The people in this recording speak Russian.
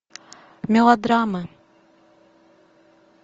мелодрамы